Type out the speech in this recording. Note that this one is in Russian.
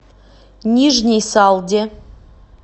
нижней салде